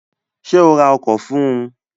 Sé o ra ọkọ̀ fún un?